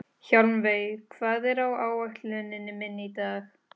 Hjálmveig, hvað er á áætluninni minni í dag?